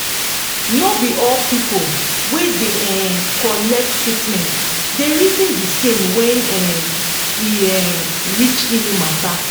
no be all people wey da um collect treatment da reason de same when um e um reach healing matter